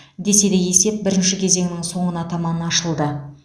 десе де есеп бірінші кезеңнің соңына таман ашылды